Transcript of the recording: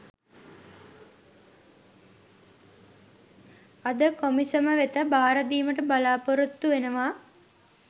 අද කොමිසම වෙත භාරදීමට බලා‍පොරොත්තු වෙනවා.